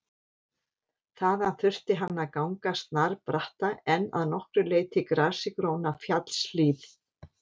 Þaðan þurfti hann að ganga snarbratta en að nokkru leyti grasigróna fjallshlíð.